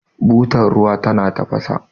butar ruwa tana tafasa